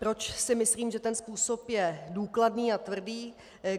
Proč si myslím, že ten způsob je důkladný a tvrdý?